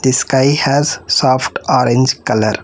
This sky has soft orange color.